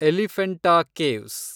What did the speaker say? Elephanta caves